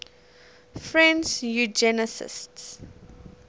french eugenicists